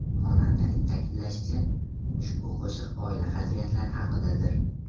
Xonandaning ta’kidlashicha, ushbu qo‘shiq oila qadriyatlari haqidadir.